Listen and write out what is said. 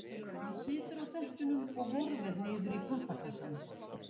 Hann situr á dekkjunum og horfir niður í pappakassann.